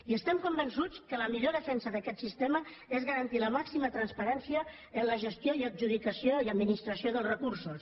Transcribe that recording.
i estem convençuts que la millor defensa d’aquest sistema és garantir la màxima transparència en la gestió i adjudicació i administració dels recursos